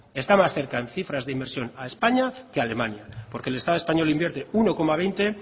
está más cerca en cifras de inversión a españa que a alemania porque el estado español invierte uno coma veinte